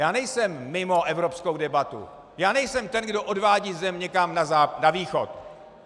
Já nejsem mimo evropskou debatu, já nejsem ten, kdo odvádí zemi někam na Východ.